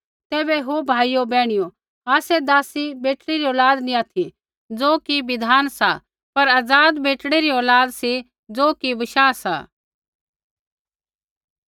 तैबै ओ भाइयो बैहणियो आसै दासी बेटड़ी री औलाद नैंई ऑथि ज़ो कि बिधान सा पर आज़ाद बेटड़ी री औलाद सी ज़ो कि बशाह सा